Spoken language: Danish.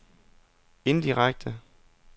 indirekte